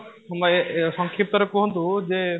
ତୁମ ୟେ ସଂକ୍ଷିପ୍ତ ରେ କୁହନ୍ତୁ ଯେ